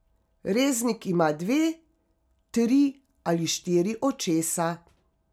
Reznik ima dve, tri ali štiri očesa.